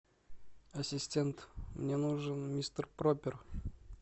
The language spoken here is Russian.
ассистент мне нужен мистер пропер